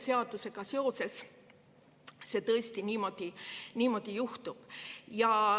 Selle seadusega seoses see tõesti niimoodi juhtub.